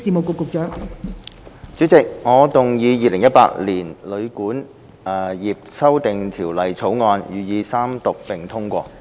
代理主席，我動議《2018年旅館業條例草案》予以三讀並通過。